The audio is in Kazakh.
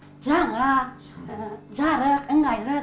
жаңа жарық ыңғайлы